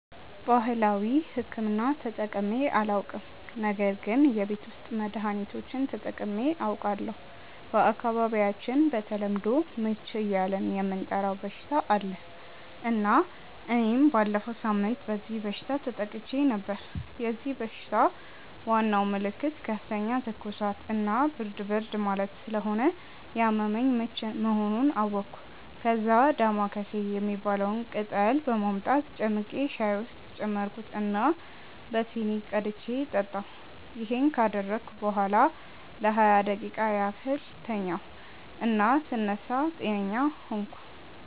ባህላዊ ሕክምና ተጠቅሜ አላውቅም ነገር ግን የቤት ውስጥ መድሀኒቶችን ተጠቅሜ አውቃለሁ። በአካባቢያቸው በተለምዶ "ምች" እያልን የምንጠራው በሽታ አለ እና እኔም ባለፈው ሳምንት በዚህ በሽታ ተጠቅቼ ነበር። የዚህ በሽታ ዋናው ምልክት ከፍተኛ ትኩሳት እና ብርድ ብርድ ማለት ስለሆነ ያመመኝ ምች መሆኑን አወቅኩ። ከዛ "ዳማከሴ" የሚባለውን ቅጠል በማምጣት ጨምቄ ሻይ ውስጥ ጨመርኩት እና በሲኒ ቀድቼ ጠጣሁ። ይሄን ካደረግኩ በኋላ ለሃያ ደቂቃ ያህል ተኛሁ እና ስነሳ ጤነኛ ሆንኩ።